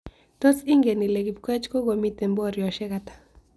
Tos' ingen ile kipkoech kogomiten boryosiek ata